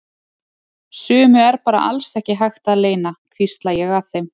Sumu er bara alls ekki hægt að leyna, hvísla ég að þeim.